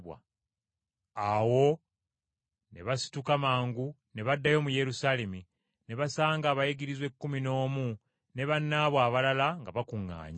Awo ne basituka mangu ne baddayo mu Yerusaalemi, ne basanga abayigirizwa ekkumi n’omu ne bannaabwe abalala nga bakuŋŋaanye,